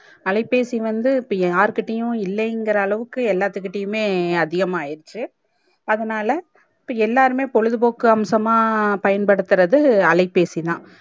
அலைபேசி வந்து இப்போ யார்கிட்டயும் இல்லங்குற அளவுக்கு எல்லாதுக்கிட்டயும் மே அதிகமா ஆயிடுச்சி அதனால இப்போ எல்லாருமே பொழுது போக்கு அம்சமா பயன்படுத்துறது அலைபேசிதா